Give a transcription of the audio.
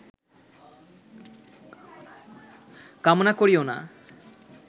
কামনা করিও না